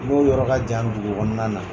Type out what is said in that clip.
N dɔw yɔrɔ ka jan dugukɔnɔna na.